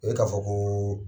E k'a fɔ kooo